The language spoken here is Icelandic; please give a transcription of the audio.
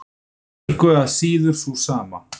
Engu að síður sú sama.